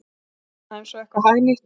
Kenna þeim svo eitthvað hagnýtt!